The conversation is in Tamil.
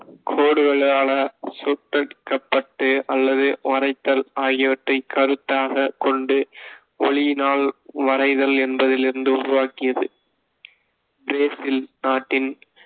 கோடுகளால சுட்டுக்கப்பட்டு அல்லது வரைத்தல் ஆகியவற்றை கருத்தாகக் கொண்டு ஒளியினால் வரைதல் என்பதிலிருந்து உருவாக்கியது பிரேசில் நாட்டின், .